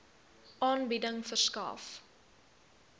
aanbieding verskaf